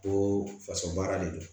Ko faso baara de don